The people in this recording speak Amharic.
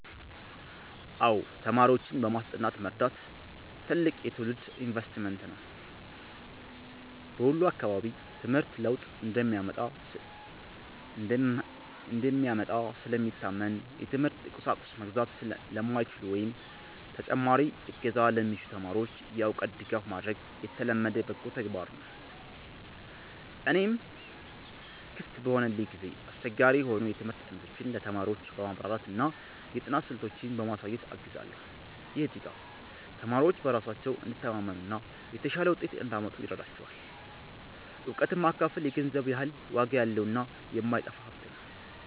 አዎ፣ ተማሪዎችን በማስጠናት መርዳት ትልቅ የትውልድ ኢንቨስትመንት ነው። በወሎ አካባቢ ትምህርት ለውጥ እንደሚያመጣ ስለሚታመን፣ የትምህርት ቁሳቁስ መግዛት ለማይችሉ ወይም ተጨማሪ እገዛ ለሚሹ ተማሪዎች የእውቀት ድጋፍ ማድረግ የተለመደ በጎ ተግባር ነው። እኔም ክፍት በሆነልኝ ጊዜ አስቸጋሪ የሆኑ የትምህርት አይነቶችን ለተማሪዎች በማብራራትና የጥናት ስልቶችን በማሳየት አግዛለሁ። ይህ ድጋፍ ተማሪዎች በራሳቸው እንዲተማመኑና የተሻለ ውጤት እንዲያመጡ ይረዳቸዋል። እውቀትን ማካፈል የገንዘብ ያህል ዋጋ ያለውና የማይጠፋ ሀብት ነው።